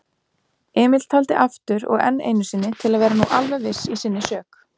Emil taldi aftur og enn einusinni til að vera nú alveg viss í sinni sök.